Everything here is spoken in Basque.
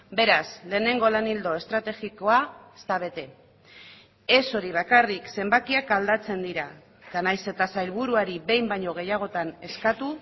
beraz lehenengo lan ildo estrategikoa ez da bete ez hori bakarrik zenbakiak aldatzen dira eta nahiz eta sailburuari behin baino gehiagotan eskatu